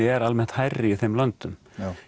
er almennt hærri í þeim löndum